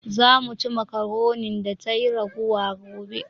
"Za mu ci makaronin da tayi ragowa gobe